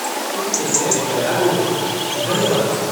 तुम कितने दयालु हो, धन्यवाद।